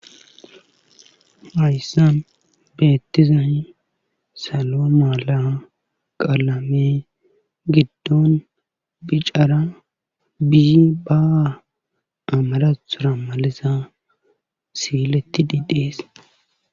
Hayssan beettiza salo mala qalamey giddon bicara binbbaa amarathora maliza siilettidi dees.